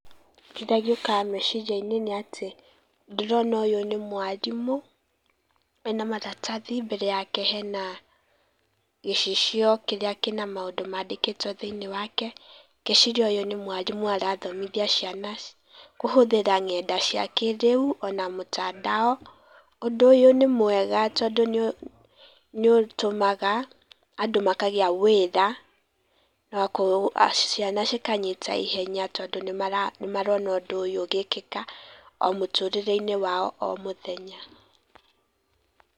Kĩrĩa gĩũkaga meciria-inĩ nĩ atĩ ndĩrona ũyũ nĩ mwarimũ, ena maratathi. Mbere yake hena gĩcicio kĩrĩa kĩna maũndũ mandĩkĩtwo thĩinĩ wake. Ndĩreciria ũyũ nĩ mwarimũ ũrathomithia ciana kũhũthĩra ng'enda cia kĩrĩu ona mũtandao. Ũndũ ũyũ nĩ mwega tondũ nĩũtũmaga andũ makagĩa wĩra, nakuo ciana cikanyita ihenya tondũ nĩ marona ũndũ ũyũ ũgĩkĩka o mũtũrĩre-inĩ wao o mũthenya.